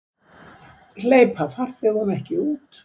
Hleypa farþegum ekki út